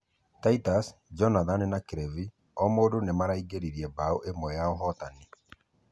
Titus , Jonathan na Clive o mũndũ nĩmaraĩngeririe bao ĩmwe ya ahotani.